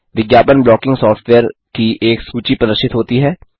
विज्ञापन blocking software की एक सूची प्रदर्शित होती है